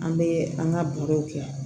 An bɛ an ka baro kɛ